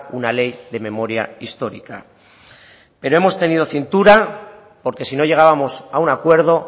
una ley de memoria histórica pero hemos tenido cintura porque si no llegábamos a un acuerdo